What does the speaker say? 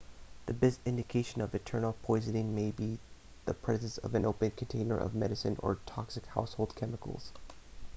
the best indication of internal poisoning may be the presence of an open container of medication or toxic household chemicals